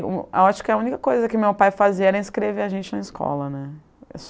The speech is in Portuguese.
Acho que a única coisa que meu pai fazia era inscrever a gente na escola, né.